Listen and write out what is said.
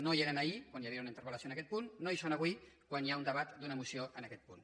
no hi eren ahir quan hi havia una interpel·lació en aquest punt no hi són avui quan hi ha un debat d’una moció en aquest punt